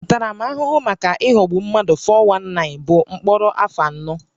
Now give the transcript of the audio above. Ntaramahụhụ maka ịghọgbu mmadụ (419) bụ mkpọrọ afọ anọ